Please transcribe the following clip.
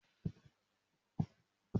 Emi yoo tú firiji mi torẹ laipẹ.